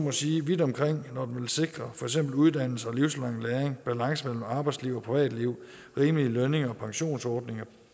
at sige vidt omkring når den vil sikre for eksempel uddannelse og livslang læring balance mellem arbejdsliv og privatliv og rimelige lønninger og pensionsordninger